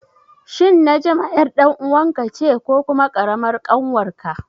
Shin Najma ƴar ɗan uwanka ce ko kuma ƙaramar ƙanwarka?